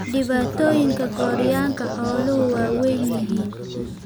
Dhibaatooyinka gooryaanka xooluhu waa weyn yihiin.